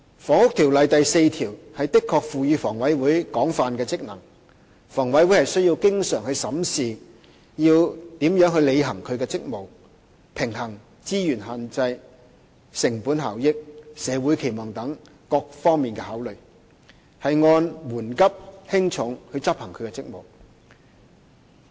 《房屋條例》第4條的確賦予房委會廣泛的職能，房委會需要經常審視應如何履行其職務，平衡資源限制、成本效益、社會期望等各方面的考慮，按緩急輕重執行其職務。